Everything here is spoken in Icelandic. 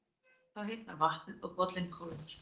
Þá hitnar vatnið og bollinn kólnar.